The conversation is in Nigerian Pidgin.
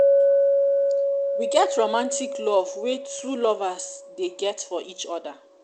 we get romantic love wey two lovers dey get for each oda